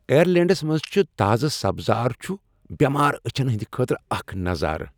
آیٔرلینڈس منٛز چھ تازہ سبزار چھُ بیمار أچھن ہٕندِ خٲطرٕ اکھ نظارٕ۔